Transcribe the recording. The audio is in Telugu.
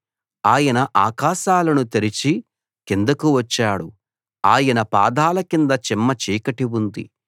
ఆయన ఆకాశాలను తెరిచి కిందకు వచ్చాడు ఆయన పాదాల కింద చిమ్మచీకటి ఉంది